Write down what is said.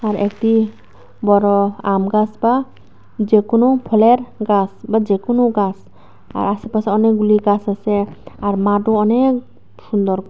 আর একটি বড় আম গাস বা যে কোনো ফলের গাস বা যে কোনো গাস আশেপাশে অনেকগুলি গাস আসে আর মাঠও অনেক সুন্দর।